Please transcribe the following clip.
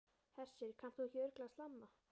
Hersir, kannt þú ekki örugglega að slamma?